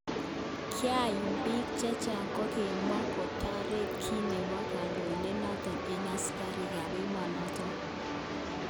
Kayumak bik chechang kokakimwa kotoret kit nebo kodoin'det noton eng asikarik kap emonoton.